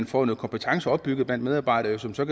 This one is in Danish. får nogle kompetencer opbygget blandt medarbejdere som så